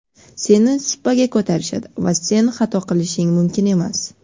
seni supaga ko‘tarishadi va sen xato qilishing mumkin emas.